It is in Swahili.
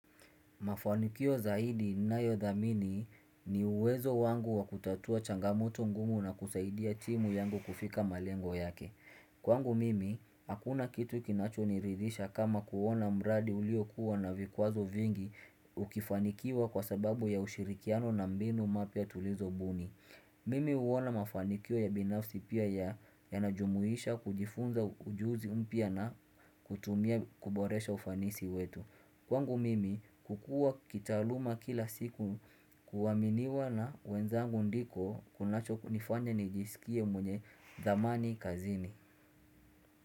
Mafanikio zaidi ninayodhamini ni uwezo wangu wa kutatua changamoto ngumu na kusaidia timu yangu kufika malengo yake. Kwangu mimi, hakuna kitu kinachoniridhisha kama kuona mradi uliokua na vikwazo vingi ukifanikiwa kwa sababu ya ushirikiano na mbinu mpya tulizo mbuni. Mimi huona mafanikio ya binafsi pia yanajumuisha kujifunza ujuzi mpya na kutumia kuboresha ufanisi wetu. Kwangu mimi kukua kitaaluma kila siku kuaminiwa na wenzangu ndiko kunacho nifanya nijisikie mwenye thamani kazini.